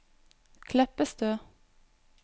Kleppestø